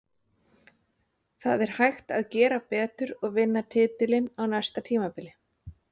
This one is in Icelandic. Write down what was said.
Það er hægt að gera betur og vinna titilinn á næsta tímabili.